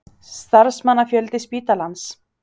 Starfsmannafjöldi spítalans?